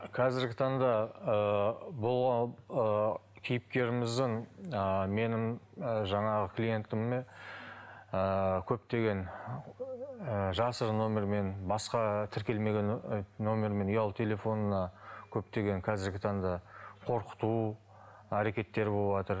қазіргі таңда ыыы бұл ы кейіпкеріміздің ы менің ы жаңағы клиентіме ыыы көптеген ы жасырын нөмірмен басқа тіркелмеген нөмірмен ұялы телефонына көптеген қазіргі таңда қорқыту әрекеттері болыватыр